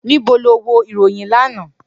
Nibo lo wo iroyin lana?